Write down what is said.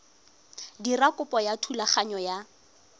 dira kopo ya thulaganyo ya